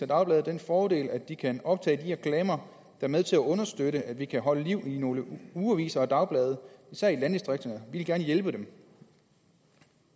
dagblade den fordel at de kan optage de reklamer er med til at understøtte at vi kan holde liv i nogle ugeaviser og dagblade især i landdistrikterne vil gerne hjælpe dem